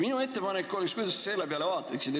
Minu ettepanek on – kuidas sa selle peale vaataksid?